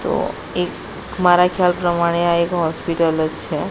તો એક મારા ખ્યાલ પ્રમાણે આ એક હોસ્પિટલ જ છે.